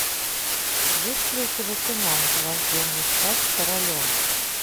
есть ли у тебя кино рожденный стать королем